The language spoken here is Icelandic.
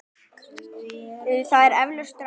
Það er eflaust rangt.